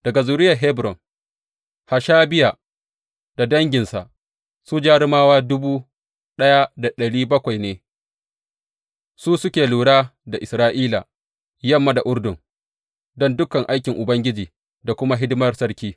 Daga zuriyar Hebron, Hashabiya da danginsa, su jarumawa dubu ɗaya da ɗari bakwai ne, su suke lura da Isra’ila yamma da Urdun don dukan aikin Ubangiji da kuma hidimar sarki.